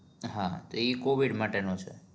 હા એ covid માટેનો છે